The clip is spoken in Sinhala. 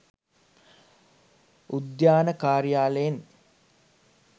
උද්‍යාන කාර්යාලයෙන්